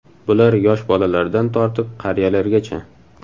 Bular yosh bolalardan tortib qariyalargacha.